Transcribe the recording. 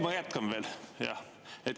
Ma jätkan veel.